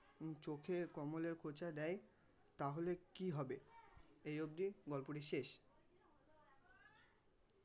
চোখে কমলের খোঁচা দেয় তাহলে কি হবে এই অব্দি গল্পটি শেষ.